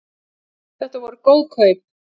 Þetta voru góð kaup